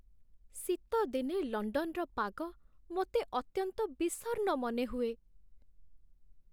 ଶୀତଦିନେ ଲଣ୍ଡନର ପାଗ ମୋତେ ଅତ୍ୟନ୍ତ ବିଷର୍ଣ୍ଣ ମନେହୁଏ।